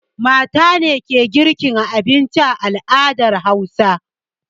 Mata ne ke girka abinci a al'adar Hausawa.